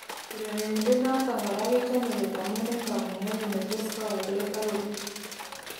Urerenindet noto kora kechame kot amun en kamugenyin ne tos kowek let ak korib